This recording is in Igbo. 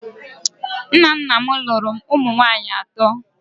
Nna nna m lụrụ ụmụ nwanyị atọ